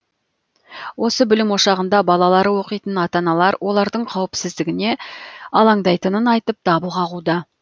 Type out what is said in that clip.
осы білім ошағында балалары оқитын ата аналар олардың қауіпсіздігіне алаңдайтынын айтып дабыл қағуда